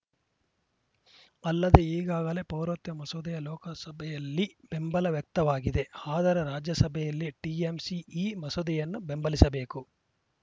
ಅಲ್ಲದೆ ಈಗಾಗಲೇ ಪೌರತ್ಯ ಮಸೂದೆಯ ಲೋಕಸಭೆಯಲ್ಲಿ ಬೆಂಬಲ ವ್ಯಕ್ತವಾಗಿದೆ ಆದರೆ ರಾಜ್ಯಸಭೆಯಲ್ಲಿ ಟಿಎಂಸಿ ಈ ಮಸೂದೆಯನ್ನು ಬೆಂಬಲಿಸಬೇಕು